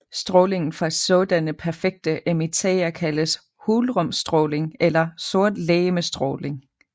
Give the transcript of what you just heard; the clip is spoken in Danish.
Strålingen fra sådanne perfekte emittere kaldes hulrumsstråling eller sortlegemestråling